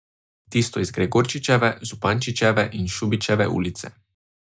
Tisto iz Gregorčičeve, Župančičeve in Šubičeve ulice.